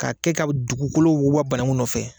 K'a kɛ ka dugukolo woba banagun nɔfɛ.